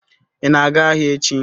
Ị na-aga ahịa echi?